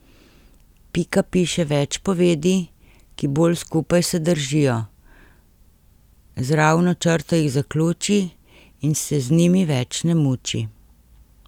Pika piše več povedi, ki bolj skupaj se držijo, z ravno črto jih zaključi in se z njimi več ne muči.